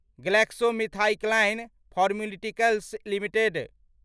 GlaxoSmithKline pharmaceuticals limited